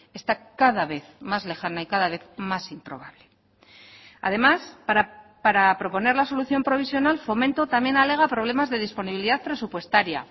está cada vez más lejana y cada vez más improbable además para proponer la solución provisional fomento también alega problemas de disponibilidad presupuestaria